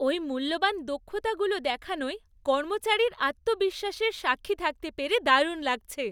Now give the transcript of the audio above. ওই মূল্যবান দক্ষতাগুলো দেখানোয় কর্মচারীর আত্মবিশ্বাসের সাক্ষী থাকতে পেরে দারুণ লাগছে।